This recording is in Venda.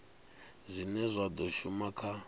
zwine zwa do shuma kha